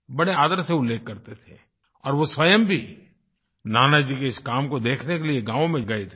बड़े आदर से उल्लेख करते थे और वो स्वयं भी नानाजी के इस काम को देखने के लिए गाँव में गए थे